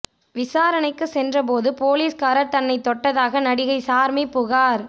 விசாரணைக்கு சென்றபோது போலீஸ்காரர் தன்னை தொட்டதாக நடிகை சார்மி புகார்